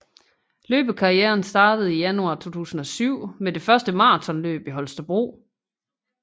Løbekarrieren startede i januar 2007 med det første maratonløb i Holstebro